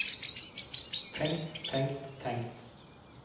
tenkt tenkt tenkt